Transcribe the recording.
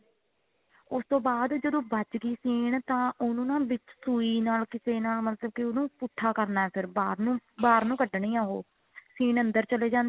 ਉਸ ਤੋਂ ਬਾਅਦ ਜਦੋਂ ਵੱਜ ਗਈ ਸੀਨ ਤਾਂ ਉਹਨੂੰ ਨਾ ਵਿੱਚ ਸੂਈ ਨਾਲ ਕਿਸੇ ਨਾਲ ਮਤਲਬ ਕਿ ਉਹਨੂੰ ਪੁੱਠਾ ਕਰਨਾ ਫੇਰ ਬਾਹਰ ਨੂੰ ਬਾਹਰ ਨੂੰ ਕੱਢਨੀ ਹੈ ਉਹ ਸੀਨ ਅੰਦਰ ਚਲੇ ਜਾਂਦੀ